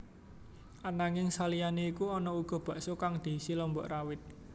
Ananging saliyané iku ana uga bakso kang diisi lombok rawit